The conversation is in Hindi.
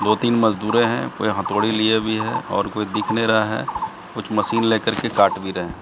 दो तीन मजदूरे हैं कोई हथौड़ी लिए हुए भी हैं और कोई दिख नहीं रहा है कुछ मशीन लेकर के काट भी रहे हैं।